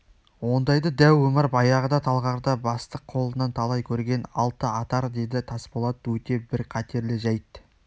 ондайды дәу омар баяғыда талғарда бастық қолынан талай көрген алтыатар деді тасболат өте бір қатерлі жайт